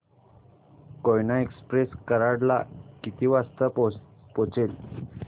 Koyna express Karad ला किती वाजता पोहचेल